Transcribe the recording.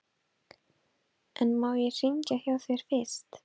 En má ég hringja hjá þér fyrst?